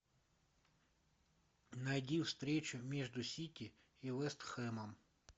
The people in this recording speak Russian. найди встречу между сити и вест хэмом